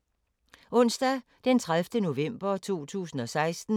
Onsdag d. 30. november 2016